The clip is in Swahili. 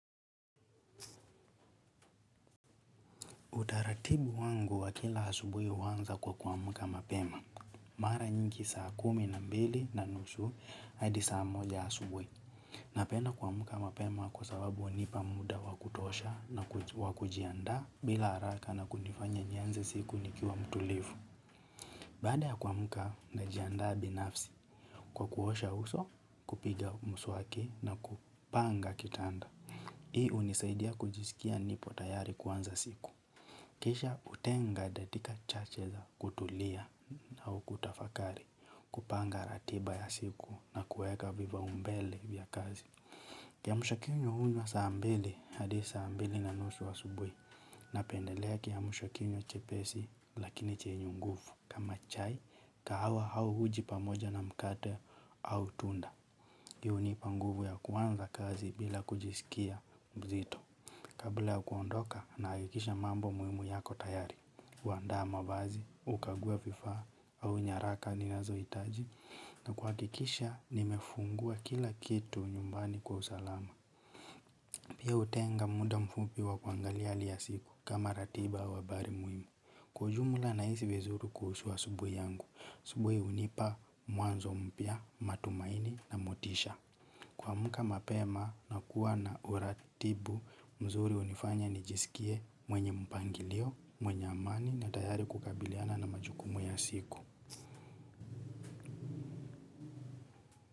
Utaratibu wangu wa kila asubuhi huanza kwa kuamka mapema. Mara nyingi saa kumi na mbili na nusu hadi saa moja subuhi. Napenda kuamka mapema kwa sababu hunipa muda wa kutosha na wa kujiandaa bila haraka na kunifanya nianze siku nikiwa mtulivu. Baada ya kuamka najiandaa binafsi kwa kuosha uso kupiga mswaki na kupanga kitanda. Hii hunisaidia kujisikia nipo tayari kuanza siku. Kisha hutenga dakika chache za kutulia au kutafakari kupanga ratiba ya siku na kuweka vipaumbele vya kazi. Kiamshakinywa hunywa saa mbili, hadi saa mbili na nusu asubuhi napendelea kiamshakinywa chepesi lakini chenye nguvu. Kama chai, kahawa au uji pamoja na mkate au tunda. Pia hunipa nguvu ya kuanza kazi bila kujisikia mzito. Kabla ya kuondoka nahakikisha mambo muhimu yako tayari, kuandaa mavazi, kukagua vifaa au nyaraka ninazohitaji na kuhakikisha nimefungua kila kitu nyumbani kwa usalama. Pia hutenga muda mfupi wa kuangalia hali ya siku kama ratiba au habari muhimu. Kwa ujumla nahisi vizuri kuhushu asubuhi yangu, asubuhi hunipa mwanzo mpya, matumaini na motisha. Kuamka mapema na kuwa na uratibu mzuri hunifanya nijisikie mwenye mpangilio, mwenye amani na tayari kukabiliana na majukumu ya siku.